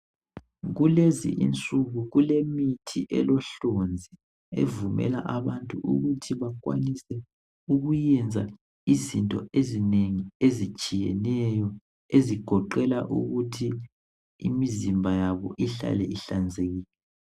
Kulezinsuku kulemithi elohlonzi evumela abantu ukuthi bakwanise ukuyenza izinto ezinengi ezitshiyeneyo ezigoqela ukuthi imizimba yabo ihlale ihlanzekile